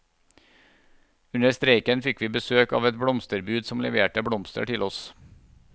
Under streiken fikk vi besøk av et blomsterbud som leverte blomster til oss.